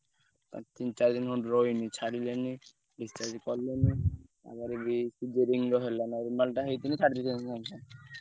ଆଉ ତିନ ଚାରିଦିନ ରହିଲେଣି ଛାଡ଼ିଲେନି ତାପରେ ବି cesarean ବି ହେଲା normal ରେ ହେଇଥିଲେ ଛାଡିଦେଇଥାନ୍ତେ ସାଙ୍ଗେ ସାଙ୍ଗ।